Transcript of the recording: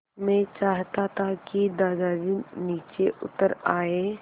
मैं चाहता था कि दादाजी नीचे उतर आएँ